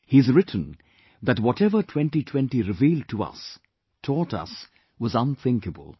He has written that whatever 2020 revealed to us, taught us was unthinkable